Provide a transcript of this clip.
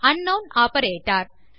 அங்க்னவுன் operator